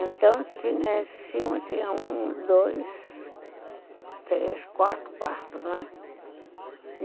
Então, em cima tinha um, dois, três, quatro quartos, né?